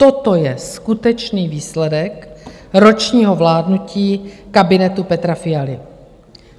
Toto je skutečný výsledek ročního vládnutí kabinetu Petra Fialy.